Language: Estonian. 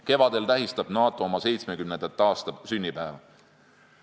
Kevadel tähistab NATO oma 70. sünnipäeva.